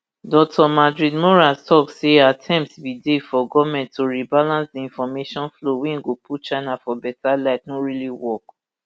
dr madridmorales tok say attempt bin dey for goment to rebalance di information flow wey go put china for beta light no really work